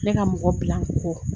Ne ka mɔgɔ bila n kɔ